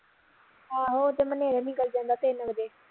ਆਹੋ ਉਹ ਤੇ ਨਿਕਲ ਜਾਂਦਾ ਤਿੰਨ ਵਜੇ